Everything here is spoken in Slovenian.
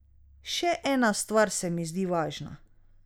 Še ena stvar se mi zdi važna.